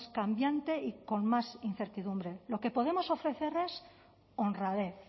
cambiante y con más incertidumbre lo que podemos ofrecer es honradez